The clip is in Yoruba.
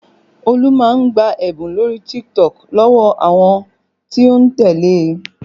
Olú máa ń gba ẹ̀bùn lórí TikTok lọ́wọ́ àwọn tí ó ń tẹ́lẹ̀ e